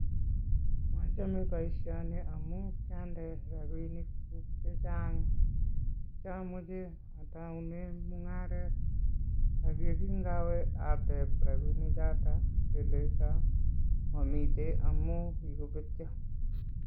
Mochome boisioni amu kyande rapiinikchu chechang chikiomoche atoune mung'aret ak yekinkawe atep rapiinichoto kelecho momite amu kikobetyo.